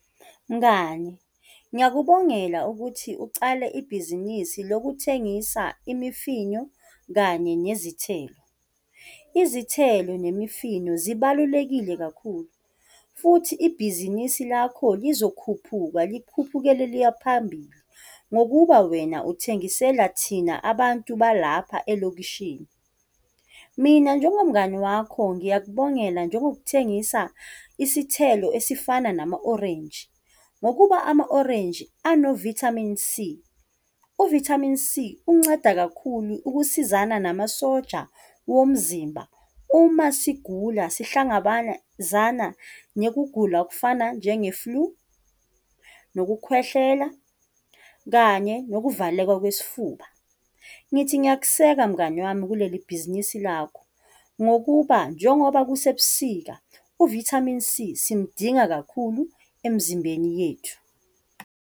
Mngani, ngiyakubongela ukuthi ucale ibhizinisi lokuthengisa imifino kanye nezithelo. Izithelo nemifino zibalulekile kakhulu futhi ibhizinisi lakho lizokhuphuka likhuphukele liya phambili, ngokuba wena uthengisela thina abantu balapha elokishini. Mina njengomngani wakho ngiyakubongela njengokuthengisa isithelo esifana nama orenji, ngokuba ama orenje ano-Vitamin C, u-Vitamin C unceda kakhulu ukusizana nama soja womzimba uma sigula sihlangabezana nokugula okufana njenge-flu, nokukhwehlela, kanye nokuvaleka kwesifuba. Ngithi ngiyakuseka mngani wami kuleli bhizinisi lakho, ngokuba njengoba kusebusika u-Vitamin C simdinga kakhulu emzimbeni yethu.